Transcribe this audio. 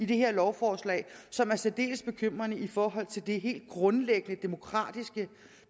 det her lovforslag som er særdeles bekymrende i forhold til det helt grundlæggende demokratiske